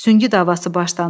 Süngü davası başlandı.